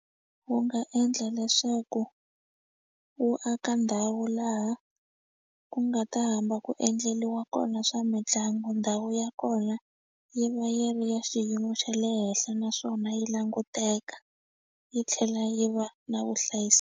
Wu nga endla leswaku wu aka ndhawu laha ku nga ta hamba ku endleliwa kona swa mitlangu ndhawu ya kona yi va yi ri ya xiyimo xa le henhla naswona yi languteka yi tlhela yi va na .